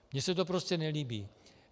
Mně se to prostě nelíbí.